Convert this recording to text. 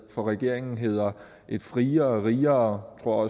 for regeringen hedder et friere rigere og